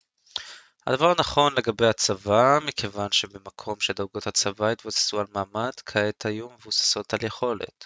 הדבר נכון לגבי הצבא מכיוון שבמקום שדרגות הצבא יתבססו על מעמד כעת היו מבוססות על יכולת